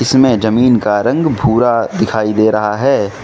इसमें जमीन का रंग भूरा दिखाई दे रहा है।